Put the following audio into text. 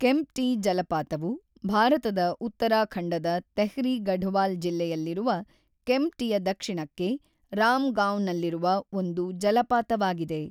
ಕೆಂಪ್ಟಿ ಜಲಪಾತವು ಭಾರತದ ಉತ್ತರಾಖಂಡದ ತೆಹ್ರಿ ಗಢವಾಲ್ ಜಿಲ್ಲೆಯಲ್ಲಿರುವ ಕೆಂಪ್ಟಿಯ ದಕ್ಷಿಣಕ್ಕೆ, ರಾಮ್ ಗಾಂವ್‌ನಲ್ಲಿರುವ ಒಂದು ಜಲಪಾತವಾಗಿದೆ.